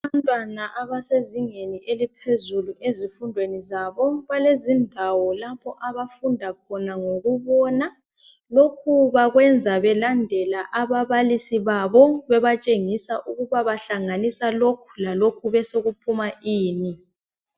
Abantwana abasezingeni eliphezulu ezifundweni zabo balezindawo lapho abafunda khona ngokubona lokhu bakwenza belandela ababalisi babo bebatshengisa ukuba bahlanganisa lokhu lalokhu besokuphuma ini.